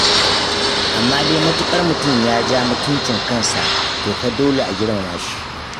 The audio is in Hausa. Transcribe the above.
Amma dai matuƙar mutum ya ja mutuncin kansa, to fa dole a girmama shi.